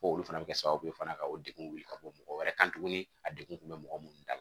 Ko olu fana bɛ kɛ sababu ye fana ka o degun wuli ka bɔ mɔgɔ wɛrɛ kan tuguni a degun kun bɛ mɔgɔ minnu da la